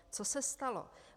Co se stalo?